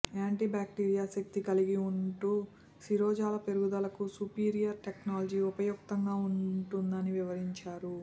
anti bacteria శక్తి కలిగి ఉంటూ శిరోజాల పెరుగుదలకు సుపీరియర్ టెక్నాలజీ ఉపయుక్తంగా ఉంటుందని వివరించారు